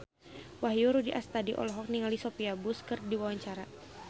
Wahyu Rudi Astadi olohok ningali Sophia Bush keur diwawancara